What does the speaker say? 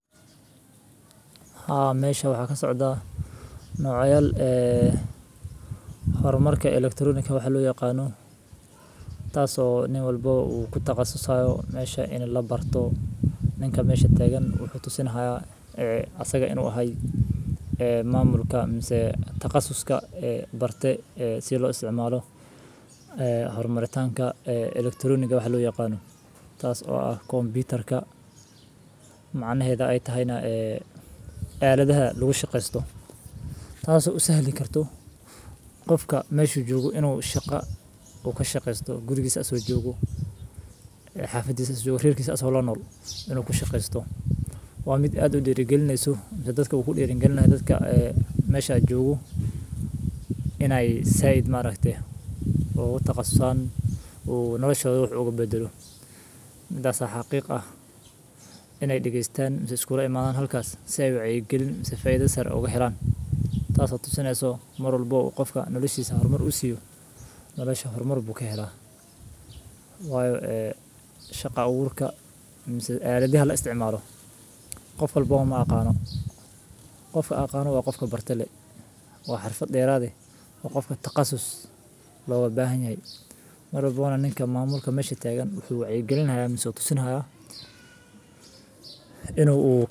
Haa meesha waxa ka socda noocayal ee horumarka elektronika waxaa loo yaqaano. Taasoo nin walbo wuu ku taqasusayo meesha in la barto. Ninka meesha taagan wuxuu tusin hayo ee asaga inuu ahay ee maamulka, balse taqasuska ee barta ee si lo isticmaalo eh dhawr maritaanka eh elektroniiga waxaa loo yaqaan. Taas oo ah koonbitaarka macnaheeda ay tahayna ee caaladaha lagu shaqeysto. Taas oo isahelyin karto qofka meeshu joogo inuu shaqa uka shaqeyso gurigisa. Asoo joogo xaafadisa suurirkis asoo la nol inuu ku shaqeysto. Waa mid aad u diri gelinaysa dadka wuxuu dhiirigeliyaa dadka meesha joogu inay saacid ma rakde. Oo taqasaan uu nolosha ugu badalo. Midaas xaqiiq ah inay dhigaystaan iskuulay maadaan halkaas si ay u cayagelin faydasar oogu xiraan. Taas tusinayso marwalba qofka noloshahooda horumar u siiyo nolosha hormaar buka heer ah. Waayo. Shaqo ururka caaladihii la isticmaalo. Qof walbo aan aqaano. Qofka aqaano waa qofka bartele. Waa xirfad dheeraad ah. Waa qofka taqasus looga baahan yahay marwalboona ninka maamulka meesha taagan wuxuu caygalinayso tusinaya inuu u.